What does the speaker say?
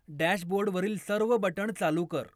डॅशबोर्डवरील सर्व बटण चालू कर